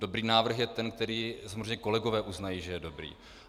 Dobrý návrh je ten, který samozřejmě kolegové uznají, že je dobrý.